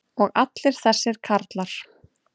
og allir þessir karlar.